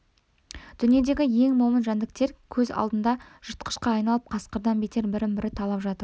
дүниедегі ең момын жәндіктер көз алдында жыртқышқа айналып қасқырдан бетер бірін-бірі талап жатыр